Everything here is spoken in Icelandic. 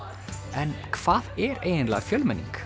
en hvað er eiginlega fjölmenning